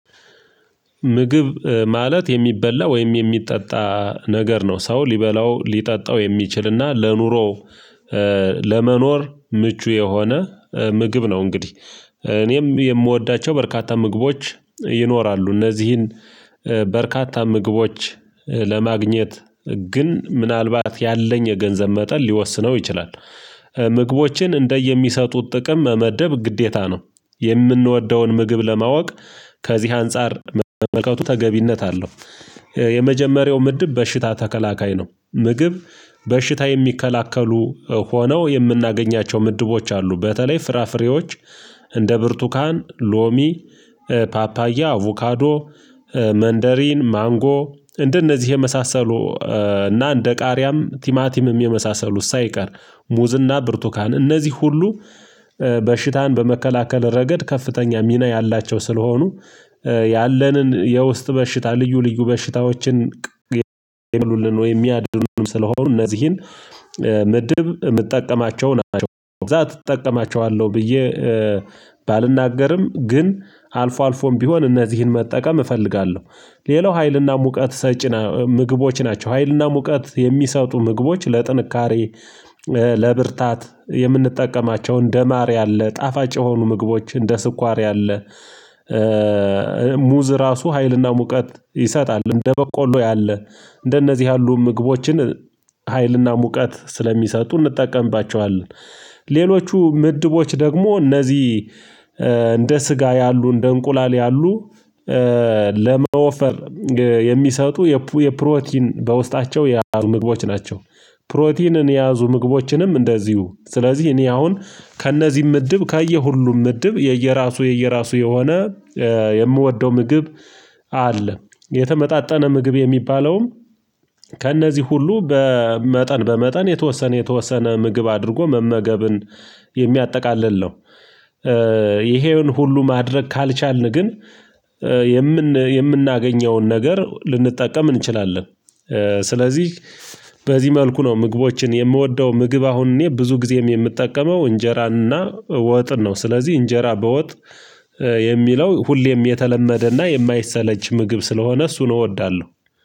ምግብ ማለት የሚበላ ወይም የሚጠጣ ነገር ነው ሰው ሊበላው ሊጠጣው የሚችልና ለኑሮው ለመኖር ምቹ የሆነ ምግብ ነው። እንግዲህ እኔም የምወዳቸው በርካታ ምግቦች ይኖራሉ እነዚህን በርካታ ምግቦች ለማግኘት ግን ምናልባት ያለኝ የገንዘብ መጠን ሊወስነው ይችላል። ምግቦችን እንደየሚሰጡት ጥቅም መመደብ ግዴታ ነው የምንወደውን ምግብ ለማወቅ ከዚህ አንፃር መመልከቱ ተገቢነት አለው። የመጀመሪያው ምድብ በሽታ ተከላካይ ነው ምግብ በሽታ የሚከላከሉ ሆነው የምናገኛቸው ምድቦች አሉ። በተለይ ፍራፍሬዎች እንደ ብርቱካን ሎሚ ፓፓያአቭካዶ መንደሪን ማንጎ እንደነዚህ የመሳሰሉ እና እንደ ቃሪያም ቲማቲምም የመሳሰሉ ሳይቀር ሙዝና ብርቱካን እነዚህ ሁሉ በሽታን በመከላከል ረገድ ከፍተኛ ሚና ያላቸው ስለሆኑ ያለንን የውስጥ በሽታ ልዩ ልዩ በሽታዎችን የሚሉልን ወይ የሚያድዱን ስለሆኑ እነዚህን ምድብ የምትጠቀማቸው ናቸው ብዛት እጠቀማቸዋለሁ ብዬ ባልናገርም ግን አልፎ አልፎም ቢሆን እነዚህን መጠቀም እፈልጋለሁ። ሌላው ሀይልና ሙቀት ሰጪ ምግቦች ናቸው። ሀይልና ሙቀት የሚሰጡ ምግቦች ለጥንካሬ ለብርታት የምንጠቀማቸው እንደማር ያለ ጣፋጭ የሆኑ ምግቦች እንደ ስኳር ያለ ሙዝ ራሱ ሀይልና ሙቀት ይሰጣል። እንደ በቆሎ ያለ እንደነዚህ ያሉ ምግቦችን ሀይልና ሙቀት ስለሚሰጡ እንጠቀምባቸዋለን። ሌሎቹ ምድቦች ደግሞ እነዚህ እንደ ስጋ ያሉ እንደ እንቁላል ያሉ ለመወፈር የሚሰጡ የፕሮቲን በውስጣቸው የያዙ ምግቦች ናቸው። ፕሮቲንን የያዙ ምግቦችንም እንደዚሁ ስለዚህ እኔ አሁን ከእነዚህም ምድብ ካየሁ ሁሉም ምድብ የየራሱ የየራሱ የሆነ የምወደው ምግብ አለ። የተመጣጠነ ምግብ የሚባለውም ከእነዚህ ሁሉ በመጠን በመጠን የተወሰነ የተወሰነ ምግብ አድርጎ መመገብን የሚያጠቃልል ነው። ይሄን ሁሉ ማድረግ ካልቻልን ግን የምናገኘውን ነገር ልንጠቀም እንችላለን። ስለዚህ በዚህ መልኩ ነው ምግቦችን የምወደው ምግብ አሁን እኔ ብዙ ጊዜም የምጠቀመው እንጀራና ወጥ ነው። ስለዚህ እንጀራ በወጥ የሚለው ሁሌም የተለመደና የማይሰለች ምግብ ስለሆነ እሱ ነው እወዳለሁ